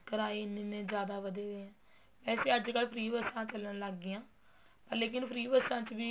ਕਿਰਾਏ ਇੰਨੇ ਇੰਨੇ ਜਿਆਦਾ ਵੱਧੇ ਪਏ ਹੈ ਵੈਸੇ ਅੱਜ ਕੱਲ free ਬੱਸਾ ਵੀ ਚੱਲਣ ਲੱਗ ਗਈਆਂ ਪਰ ਲੇਕਿਨ free ਬੱਸਾਂ ਚ ਵੀ